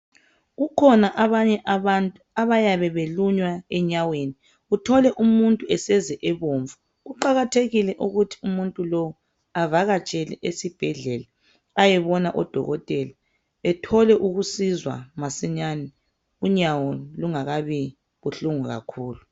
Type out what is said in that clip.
Kukhona abanye abantu abayabe belunywa enyaweni, uthole umuntu eseze sebomvu. Kuqakathekile ukuthi umuntu lowo avakatshele esibhedlela ayebona odokotela ethole ukusizwa masinyane unyawo lungakabi buhlungu kakhulu.